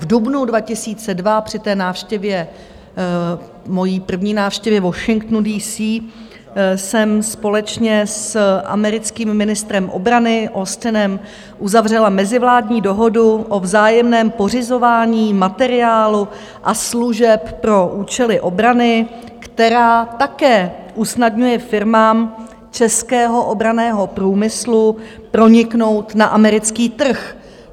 V dubnu 2002 při té návštěvě, mojí první návštěvě Washingtonu D.C., jsem společně s americkým ministrem obrany Austinem uzavřela mezivládní dohodu o vzájemném pořizování materiálu a služeb pro účely obrany, která také usnadňuje firmám českého obranného průmyslu proniknout na americký trh.